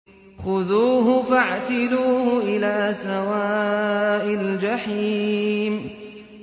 خُذُوهُ فَاعْتِلُوهُ إِلَىٰ سَوَاءِ الْجَحِيمِ